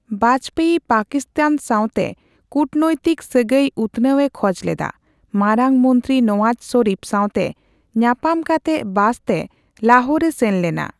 ᱵᱟᱡᱯᱮᱭᱤ ᱯᱟᱠᱤᱥᱛᱟᱱ ᱥᱟᱣᱛᱮ ᱠᱩᱴᱱᱳᱭᱛᱤᱠ ᱥᱟᱹᱜᱟᱹᱭ ᱩᱛᱱᱟᱹᱣ ᱮ ᱠᱷᱚᱡ ᱞᱮᱫᱟ, ᱢᱟᱨᱟᱝ ᱢᱚᱱᱛᱨᱤ ᱱᱚᱣᱟᱡ ᱥᱚᱨᱤᱯᱷ ᱥᱟᱣᱛᱮ ᱧᱟᱯᱟᱢ ᱠᱟᱛᱮᱜ ᱵᱟᱥᱛᱮ ᱞᱟᱦᱳᱨᱮ ᱥᱮᱱ ᱞᱮᱱᱟ ᱾